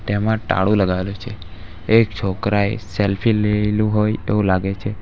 ટેમાં ટાળું લગાવેલું છે એક છોકરાએ સેલ્ફી લઈલુ હોય એવું લાગે છે.